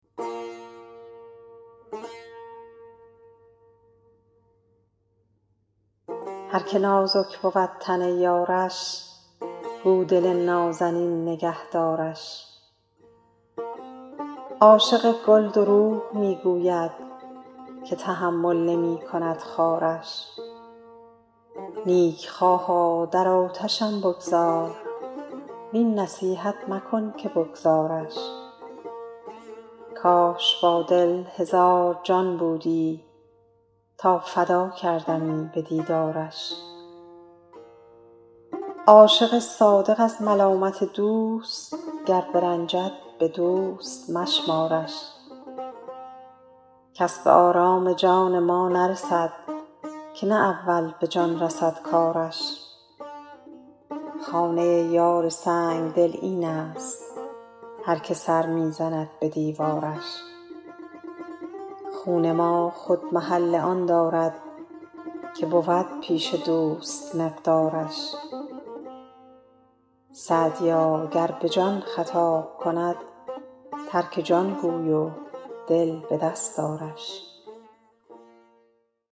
هر که نازک بود تن یارش گو دل نازنین نگه دارش عاشق گل دروغ می گوید که تحمل نمی کند خارش نیکخواها در آتشم بگذار وین نصیحت مکن که بگذارش کاش با دل هزار جان بودی تا فدا کردمی به دیدارش عاشق صادق از ملامت دوست گر برنجد به دوست مشمارش کس به آرام جان ما نرسد که نه اول به جان رسد کارش خانه یار سنگدل این است هر که سر می زند به دیوارش خون ما خود محل آن دارد که بود پیش دوست مقدارش سعدیا گر به جان خطاب کند ترک جان گوی و دل به دست آرش